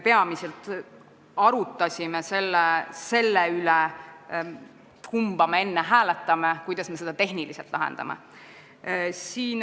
Me arutlesime peamiselt selle üle, kumba me enne hääletame ja kuidas me seda tehniliselt lahendame.